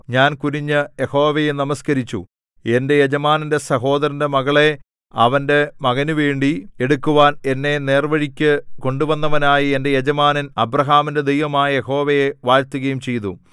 ഞാൻ കുനിഞ്ഞു യഹോവയെ നമസ്കരിച്ചു എന്റെ യജമാനന്റെ സഹോദരന്റെ മകളെ അവന്റെ മകനുവേണ്ടി എടുക്കുവാൻ എന്നെ നേർവ്വഴിക്കു കൊണ്ടുവന്നവനായ എന്റെ യജമാനൻ അബ്രാഹാമിന്റെ ദൈവമായ യഹോവയെ വാഴ്ത്തുകയും ചെയ്തു